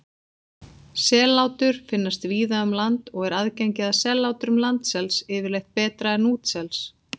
Sellátur finnast víða um land og er aðgengi að sellátrum landsels yfirleitt betra en útsels.